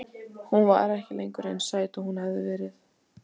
Hún var ekki lengur eins sæt og hún hafði verið.